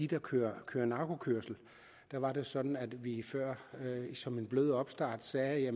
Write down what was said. der kører kører narkokørsel der var det sådan at vi før som en blød opstart sagde at